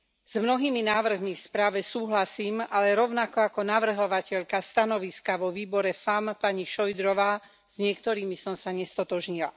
S mnohými návrhmi v správe súhlasím, ale rovnako ako navrhovateľka stanoviska vo výbore FEMM, pani Šojdrová, s niektorými som sa nestotožnila.